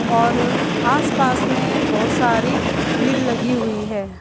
और आस पास में बोहोत सारी भीड़ लगी हुई हैं।